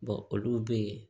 olu be yen